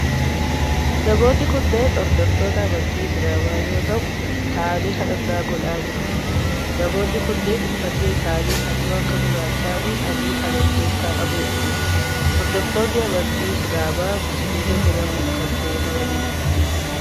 Namoonni kunneen hordoftoota amantii islaamaa yoo ta'u ta'aanii kadhannaa godhaa jiru. Namoonni kunneen uffanni isaanii halluu akka gurraachaa fi adii kan of keessaa qabudha. Hordoftoonni amantii islaamaa musliima jedhamun kan beekamanidha.